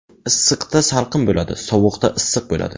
Issiqda salqin bo‘ladi, sovuqda issiq bo‘ladi.